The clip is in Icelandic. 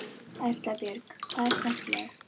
Erla Björg: Hvað er skemmtilegast?